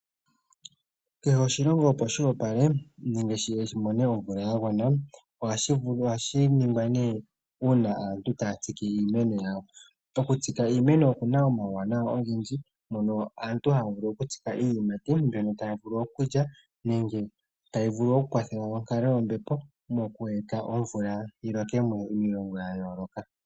Kehe oshilongo opo shi opale nenge opo shimone omvula ya gwana ohashi ningwa uuna aantu taya tsike iimeno yawo pokutsika iimeno omawunawa ohendji yawo aantu haya vulu okutsika nenge omuntu tavulu